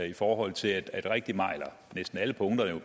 i forhold til at rigtig meget eller næsten alle punkter jo